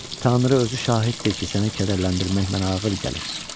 "Tanrı özü şahiddir ki, səni kədərləndirmək mənə ağır gəlir.